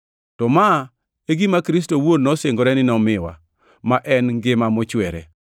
To ma e gima Kristo owuon nosingore ni nomiwa, ma en ngima mochwere.